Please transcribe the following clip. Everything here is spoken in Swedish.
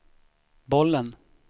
bollen